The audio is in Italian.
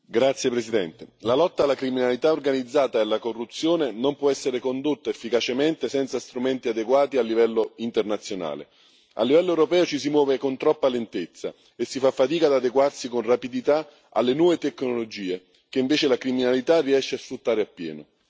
Signora Presidente, onorevoli colleghi, la lotta alla criminalità organizzata e alla corruzione non può essere condotta efficacemente senza strumenti adeguati a livello internazionale. A livello europeo ci si muove con troppa lentezza e si fa fatica ad adeguarsi con rapidità alle nuove tecnologie, che invece la criminalità riesce a sfruttare appieno.